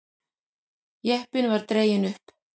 Jeppinn var dreginn upp.